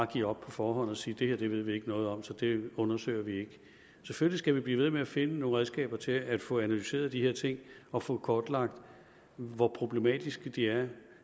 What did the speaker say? give op på forhånd og sige det her ved vi ikke noget om så det undersøger vi ikke selvfølgelig skal vi blive ved med at finde nogle redskaber til at få analyseret de her ting og få kortlagt hvor problematiske de er